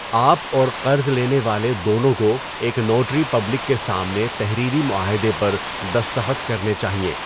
آپ اور قرض لینے والے دونوں کو ایک نوٹری پبلک کے سامنے تحریری معاہدے پر دستخط کرنے چاہئیں۔